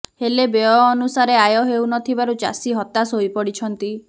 ହେଲେ ବ୍ୟୟ ଅନୁସାରେ ଆୟ ହେଉନଥିବାରୁ ଚାଷୀ ହତାଶ ହୋଇପଡିଛନ୍ତି